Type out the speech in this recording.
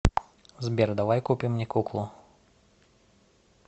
сбер давай купим мне куклу